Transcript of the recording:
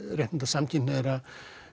réttinda samkynhneigðra